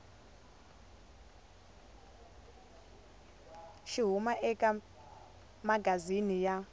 xi huma eka magazini ya